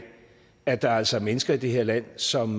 at der altså er mennesker i det her land som